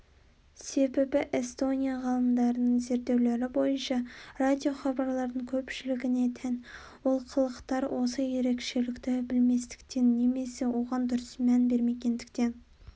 себебі эстония ғалымдарының зерттеулері бойынша радиохабарлардың көпшілігіне тән олқылықтар осы ерекшелікті білместіктен немесе оған дұрыс мән бермегендіктен